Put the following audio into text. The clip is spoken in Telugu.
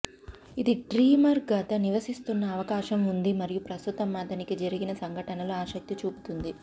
ఇది డ్రీమర్ గత నివసిస్తున్న అవకాశం ఉంది మరియు ప్రస్తుతం అతనికి జరిగిన సంఘటనలు ఆసక్తి చూపుతుంది